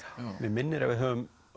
mig minnir að við höfum